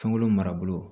Fɛnko marabolo